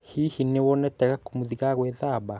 hihi nĩwonete gakũmũthĩ ka gwĩthaba?